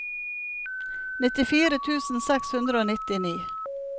nittifire tusen seks hundre og nittini